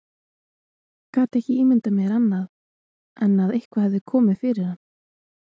Gat ekki ímyndað mér annað en að eitthvað hefði komið fyrir hann.